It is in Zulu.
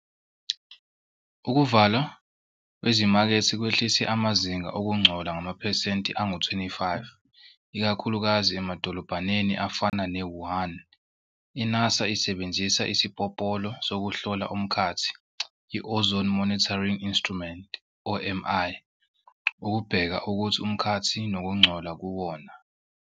Ukuvalwa kwezimakethe kwehlise amazinga okungcola ngamaphesenti angu-25 ikakhuluka0zi emadoolobhaneni afana ne-Wuhan. i-NASA isebenzisa isipopolo sokuhlola umkhathi i-ozone monitoring instrument, OMI, ukubheka ukuthi umkhathi nokungcola kuwona.